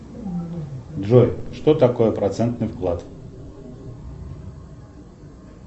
джой что такое процентный вклад